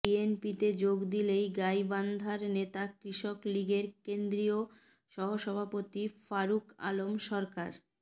বিএনপিতে যোগ দিলেন গাইবান্ধার নেতা কৃষক লীগের কেন্দ্রীয় সহসভাপতি ফারুক আলম সরকার